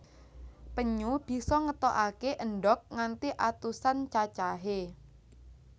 Penyu bisa ngetokaké endhog nganti atusan cacahé